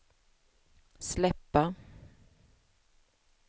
släppa